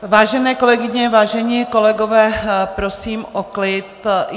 Vážené kolegyně, vážení kolegové, prosím o klid.